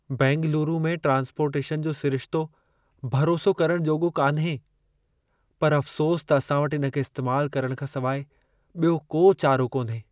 बैंगलूरू में ट्रांस्पोर्टेशन जो सिरिशितो भरोसो करण जोॻो कान्हे। पर अफ़्सोस त असां वटि इन खे इस्तेमाल करण खां सवाइ ॿियो को चारो कोन्हे।